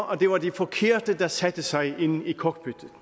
at det var de forkerte der satte sig ind i cockpittet